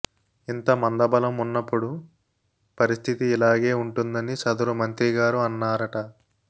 ఇంత మందబలం ఉన్నప్పుడు పరిస్థితి ఇలాగే ఉంటుందని సదరు మంత్రిగారు అన్నారట